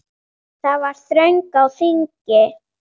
Það var þröng á þingi.